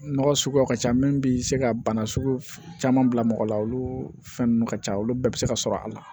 Nɔgɔ suguyaw ka ca min bi se ka bana sugu caman bila mɔgɔ la olu fɛn ninnu ka ca olu bɛɛ bɛ se ka sɔrɔ a la